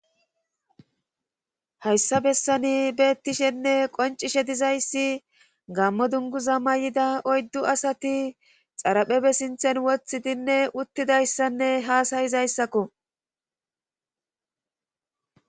Hayssa bessani beettishenne qoncishe dizayssi gammo dunguza ma y7ida oyddu asati xaraphebe sinthen wothidinne uttidayssanne haasayizayssakko.